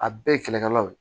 A bɛɛ ye kɛlɛkɛlaw ye